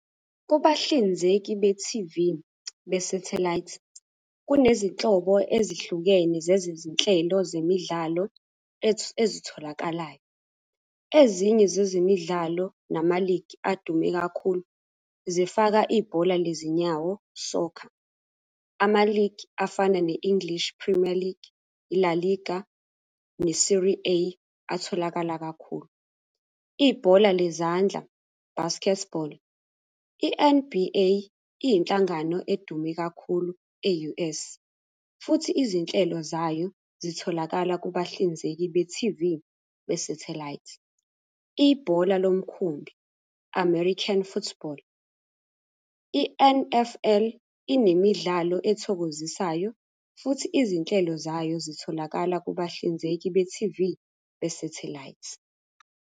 Kubahlinzeki be-T_V be-sathelayithi, kunezinhlobo ezihlukene zezezinhlelo zemidlalo ezitholakalayo. Ezinye zezemidlalo nama-league adume kakhulu, zifaka ibhola lezinyawo, soccer. Ama-league afana ne-English Premier League, i-La Liga atholakala kakhulu. Ibhola lezandla, basketball, i-N_B_A iyinhlangano edume kakhulu e-U_S, futhi izinhlelo zayo zitholakala kubahlinzeki be-T_V be-sathelayithi. Ibhola lomkhumbi, American Football, i-N_F_L inemidlalo ethokozisayo, futhi izinhlelo zayo zitholakala kubahlinzeki be-T_V, besathelayithi.